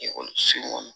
Ekɔliso kɔnɔ